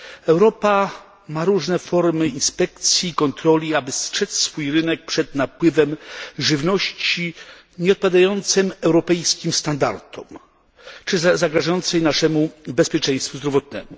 Europa ma różne formy inspekcji i kontroli tak, aby strzec swój rynek przed napływem żywności nieodpowiadającej europejskim standardom czy zagrażającej naszemu bezpieczeństwu zdrowotnemu.